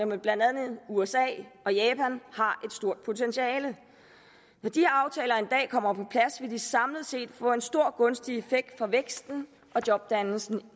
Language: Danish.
med blandt andet usa og japan har et stort potentiale når de her aftaler en dag kommer på plads vil de samlet set få en stor gunstig effekt for væksten og jobdannelsen